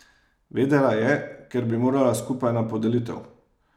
Vedela je, ker bi morala skupaj na podelitev.